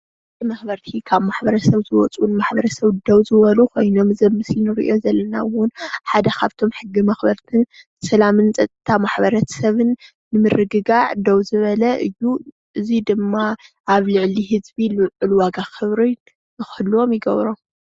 ሕጊ መክበርቲ ካብ ማሕበረሰብ ዝወፁ ንማሕበረሰብ ደው ዝበሉ ኮይኖም እዚ ኣብ ምስሊ እንሪኦ ዘለና እውን ሓደ ካብቶም ሕጊ መክበርትን ሰላምን ፀጥታን ሕብረተሰብን ንምርግጋዕ ደው ዝበለ እዩ፣ እዙይ ድማ ኣብ ልዕሊ ህዝቢ ልዑል ዋጋ ክብርን ንክህልዎም ይገብሮም፡፡